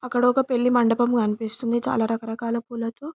అక్కడ ఒక పెళ్లి మండపం కనిపిస్తుంది చాల రకల పూలతో--